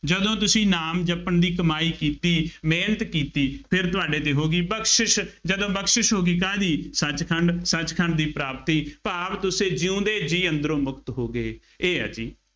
ਜਦੋਂ ਤੁਸੀਂ ਨਾਮ ਜਪਣ ਦੀ ਕਮਾਈ ਕੀਤੀ, ਮਿਹਨਤ ਕੀਤੀ, ਫਿਰ ਤੁਹਾਡੇ ਤੇ ਹੋ ਗਈ ਬਖਸ਼ਿਸ਼, ਜਦੋਂ ਬਖਸ਼ਿਸ਼ ਹੋ ਗਈ ਕਾਹਦੀ, ਸੱਚ ਖੰਡ, ਸੱਚ ਖੰਡ ਦੀ ਪ੍ਰਾਪਤੀ ਭਾਵ ਤੁਸੀਂ ਜਿਉਂਦੇ ਜੀਅ ਅੰਦਰੋਂ ਮੁਕਤ ਹੋ ਗਏ, ਇਹ ਹੈ ਜੀ,